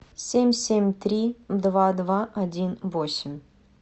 семь семь три два два один восемь